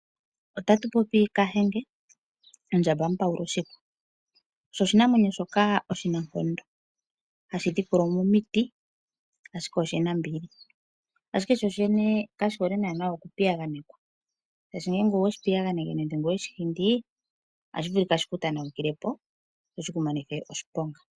Otatu popi kahenge ondjamba mupawulashihwa osho oshinamwenyo shoka oshinankondo hashidhikula mo omiti ashika oshinambili, ashike shoshene kashi hole naana okupiyaganekwa shaashi ngele oweshi piyaganeke nenge weshihindii otashivulika shiku tanawukilepo sho shiku monithe oshiponga.